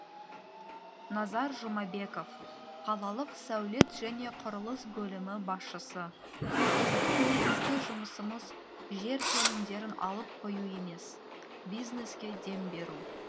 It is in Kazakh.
назар жұмабеков қалалық сәулет және құрылыс бөлімі басшысы біздің негізгі жұмысымыз жер телімдерін алып қою емес бизнеске дем беру